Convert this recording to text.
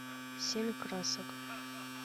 семь красок